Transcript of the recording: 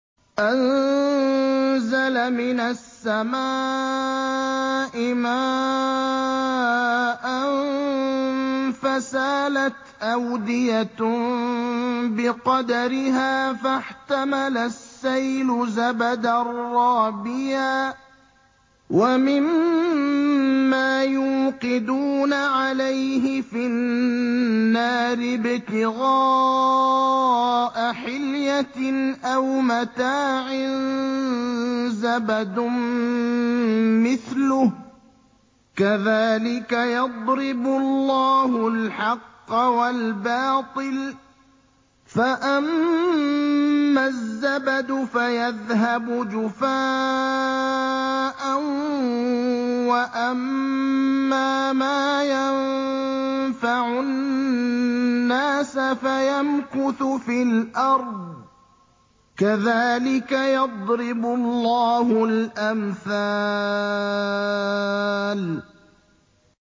أَنزَلَ مِنَ السَّمَاءِ مَاءً فَسَالَتْ أَوْدِيَةٌ بِقَدَرِهَا فَاحْتَمَلَ السَّيْلُ زَبَدًا رَّابِيًا ۚ وَمِمَّا يُوقِدُونَ عَلَيْهِ فِي النَّارِ ابْتِغَاءَ حِلْيَةٍ أَوْ مَتَاعٍ زَبَدٌ مِّثْلُهُ ۚ كَذَٰلِكَ يَضْرِبُ اللَّهُ الْحَقَّ وَالْبَاطِلَ ۚ فَأَمَّا الزَّبَدُ فَيَذْهَبُ جُفَاءً ۖ وَأَمَّا مَا يَنفَعُ النَّاسَ فَيَمْكُثُ فِي الْأَرْضِ ۚ كَذَٰلِكَ يَضْرِبُ اللَّهُ الْأَمْثَالَ